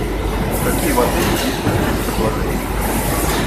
какие в отеле действуют спецпредложения